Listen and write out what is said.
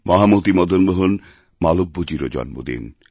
মহামতিমদনমোহন মালব্যজীরও জন্মদিন